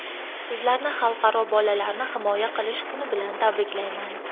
Sizlarni Xalqaro bolalarni himoya qilish kuni bilan tabriklayman!